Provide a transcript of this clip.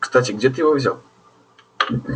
кстати где ты его взял